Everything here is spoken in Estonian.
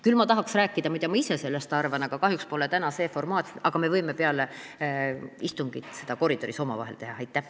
Küll tahaksin rääkida, mida ma ise sellest arvan, aga kahjuks pole täna see formaat, aga me võime peale istungit koridoris omavahel sellest rääkida.